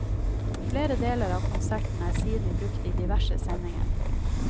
Flere deler av konserten er siden brukt i diverse sendinger.